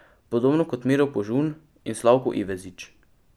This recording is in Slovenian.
Podobno kot Miro Požun in Slavko Ivezič.